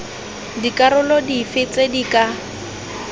dikarolo dife tse di ka